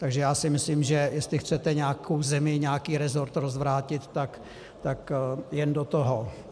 Takže já si myslím, že jestli chcete nějakou zemi, nějaký resort rozvrátit, tak jen do toho.